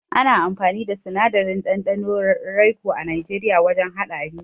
Ana amfani da sinadarin ɗanɗanon raico a Najeriya wajen haɗa abinci.